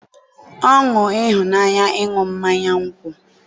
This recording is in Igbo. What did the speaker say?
ọṅụ ịhụnanya ịṅụ mmanya nkwụ.